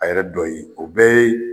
A yɛrɛ dɔ ye, o bɛɛ ye